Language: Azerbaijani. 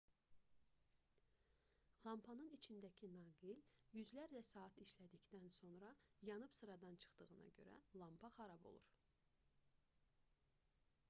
lampanın içindəki naqil yüzlərlə saat işlədikdən sonra yanıb sıradan çıxdığına görə lampa xarab olur